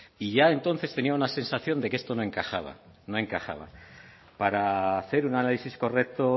y ya entonces tenía una sensación de que esto no encajaba no encajaba para hacer un análisis correcto